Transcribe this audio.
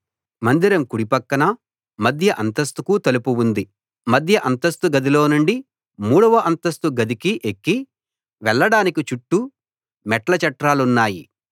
మందిరం కుడి పక్కన మధ్య అంతస్తుకు తలుపు ఉంది మధ్య అంతస్తు గదికీ మధ్య అంతస్తు గదిలో నుండి మూడవ అంతస్తు గదికీ ఎక్కి వెళ్ళడానికి చుట్టూ మెట్ల చట్రాలున్నాయి